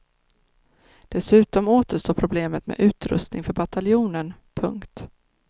Dessutom återstår problemet med utrustning för bataljonen. punkt